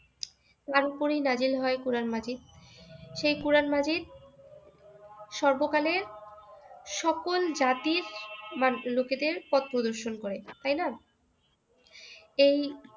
এই তার উপরেই নাযিল হয় কোরআন মাজীদ। সেই কোরআন মাজীদ সর্বকালের সকল জাতির লোকেদের পথ প্রদর্শন করে। তাইনা এই